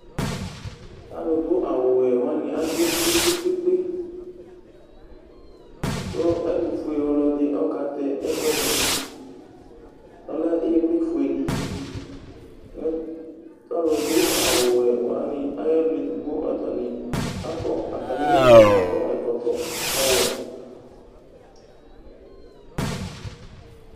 Alʋdu awʋwɛ wani atsue kpe kpe kpe kʋ ɛtʋfue ɔlɔdi akatɛ ɛkʋɛdi ɔlɛ ivli fuedi kʋ alʋdu awʋwɛ wani ayʋ alʋ ɛfʋa akɔ ɛkɔtɔ ɔwʋe